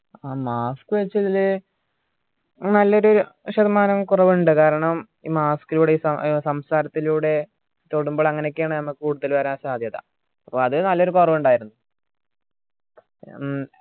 ആ mask വെച്ചതില് നല്ലൊരു ശതമാനം കുറവ് ഇണ്ട്‌ കാരണം ഈ mask ലൂടെയും ഏർ സംസാരത്തിലൂടെ തൊടുമ്പോൾ അങ്ങനെ ഒക്കെ ആണ് നമ്മക്ക് കൂടുതൽ വരാൻ സാത്യത അപ്പൊ അത് നല്ലൊരു കുറവ് ഇണ്ടായിരുന്നു